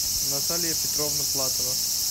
наталья петровна платова